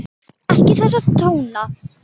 Ekki þessa tóna!